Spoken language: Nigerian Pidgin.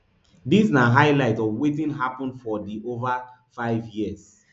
dis na highlights of wetin happun for di ova five years